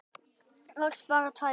Rakst bara á tvær.